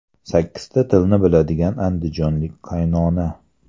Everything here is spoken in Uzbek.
Sakkizta tilni biladigan andijonlik qaynona.